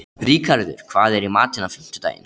Ríkharður, hvað er í matinn á fimmtudaginn?